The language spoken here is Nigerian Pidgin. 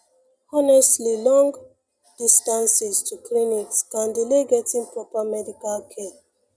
honestly long pause distances to clinics can delay getting proper medical care